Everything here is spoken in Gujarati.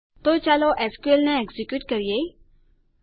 તો ચાલો એસક્યુએલ ને એકઝેક્યુંટ કરીએ